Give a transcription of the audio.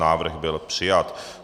Návrh byl přijat.